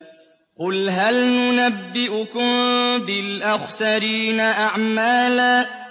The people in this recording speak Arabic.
قُلْ هَلْ نُنَبِّئُكُم بِالْأَخْسَرِينَ أَعْمَالًا